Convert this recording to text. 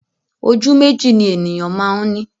Ojú méjì ni ènìyàn máa ń ni